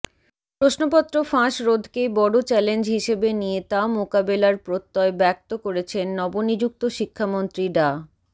প্রশ্নপত্র ফাঁস রোধকেই বড় চ্যালেঞ্জ হিসেবে নিয়ে তা মোকাবেলার প্রত্যয় ব্যক্ত করেছেন নবনিযুক্ত শিক্ষামন্ত্রী ডা